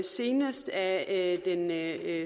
senest af